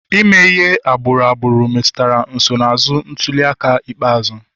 Ime ihe na agbụrụ agbụrụ metụtara nsonaazụ ntuli aka ikpeazụ